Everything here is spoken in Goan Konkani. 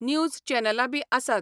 न्यूज चॅनलां बी आसात.